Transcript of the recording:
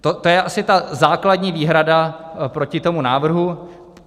To je asi ta základní výhrada proti tomu návrhu.